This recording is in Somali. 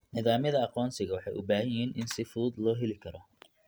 Nidaamyada aqoonsiga waxay u baahan yihiin in si fudud loo heli karo.